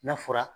N'a fɔra